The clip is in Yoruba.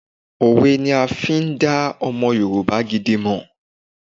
Òwe ni a máa n fi n dá ọmọ Yorùbá gidi mọ̀